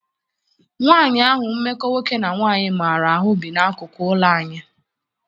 Nwaanyị ahụ mmekọ nwoke na nwaanyị maara ahụ bi n'akụkụ ụlọ anyị.